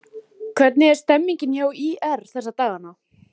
Hvernig er stemningin hjá ÍR þessa dagana?